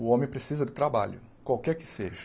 O homem precisa do trabalho, qualquer que seja.